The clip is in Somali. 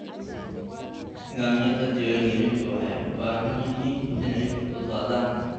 Nidaamyada diiwaangelintu waxay u baahan yihiin inay fududaadaan.